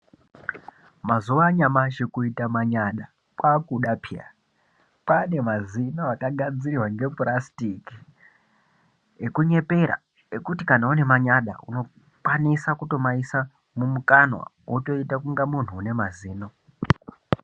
Mazuva anyamashi kuita manyada kwakuda peya kwane mazino aka gadzirwa nge purasitiki eku nyepera ekuti kana une manyada uno kwanisa kuto maisi mumu kanwa woto ita kunga muntu une mazino.